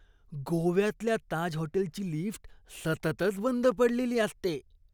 गोव्यातल्या ताज हॉटेलची लिफ्ट सततच बंद पडलेली असते.